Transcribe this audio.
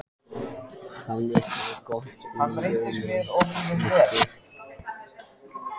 Hafðu það gott um jólin, Nikki